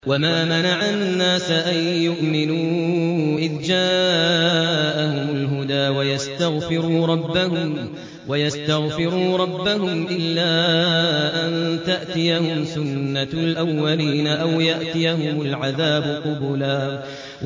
وَمَا مَنَعَ النَّاسَ أَن يُؤْمِنُوا إِذْ جَاءَهُمُ الْهُدَىٰ وَيَسْتَغْفِرُوا رَبَّهُمْ إِلَّا أَن تَأْتِيَهُمْ سُنَّةُ الْأَوَّلِينَ أَوْ يَأْتِيَهُمُ الْعَذَابُ قُبُلًا